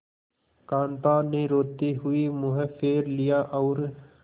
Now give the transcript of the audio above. कांता ने रोते हुए मुंह फेर लिया और